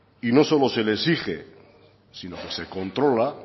y no solo se le exige sino que se controla